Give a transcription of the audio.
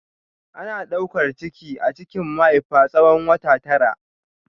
Ana daukar ciki a cikin mahaifa tsawon wata tara.